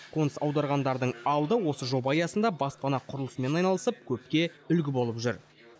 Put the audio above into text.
қоныс аударғандардың алды осы жоба аясында баспана құрылысымен айналысып көпке үлгі болып жүр